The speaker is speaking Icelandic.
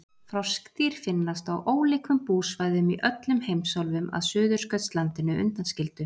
froskdýr finnast á ólíkum búsvæðum í öllum heimsálfum að suðurskautslandinu undanskildu